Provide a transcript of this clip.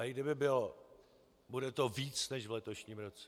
A i kdyby bylo, bude to víc než v letošním roce.